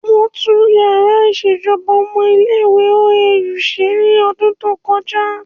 Wọ́n tún yàrá ìṣèjọba ọmọ ilé ìwé OAU ṣe ní ọdún tó kọjá